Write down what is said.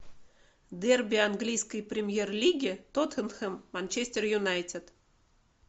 дерби английской премьер лиги тоттенхэм манчестер юнайтед